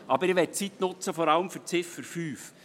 Doch ich möchte die Zeit vor allem für die Ziffer 5 nutzen.